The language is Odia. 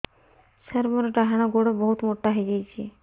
ସାର ମୋର ଡାହାଣ ଗୋଡୋ ବହୁତ ମୋଟା ହେଇଯାଇଛି